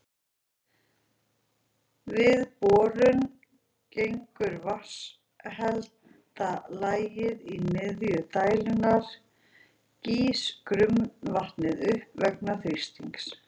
Við borun gegnum vatnshelda lagið í miðju dældarinnar gýs grunnvatnið upp vegna þrýstings.